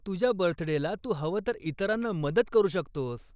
तुझ्या बर्थडेला तू हवं तर इतरांना मदत करू शकतोस.